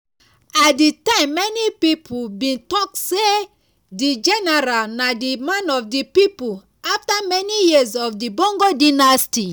at di time many pipo bin tok say di general na di "man of di pipo" afta many years of di bongo dynasty.